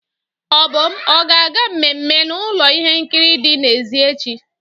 Obum ọ ga-aga mmemme na ụlọ ihe nkiri dị n'èzí echi?